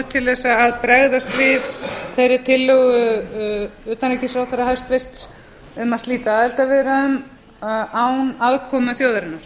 til að bregðast við þeirri tillögu hæstvirts utanríkisráðherra um að slita aðildarviðræðum án aðkomu þjóðarinnar